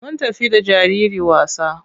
Mun tafi da jariri wasa.